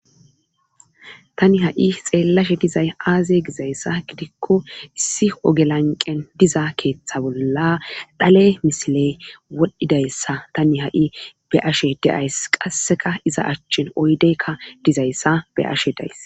tani ha7i xeellashe dizay aaze gizayssa gidikko issi ogelanqen diza keeththa bolla dhale misiley wodhdhidayssa tani ha7i be ashe deays qasseka iza achchin oydeykka dizayssa be ashe days